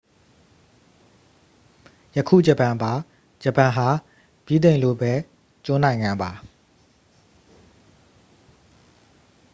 ယခု ဂျပန်ပါ ဂျပန်ဟာ ဗြိတိန်လိုပဲ ကျွန်းနိုင်ငံပါ